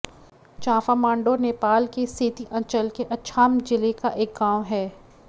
चाँफामाण्डौ नेपाल के सेती अंचल के अछाम जिले का एक गाँव है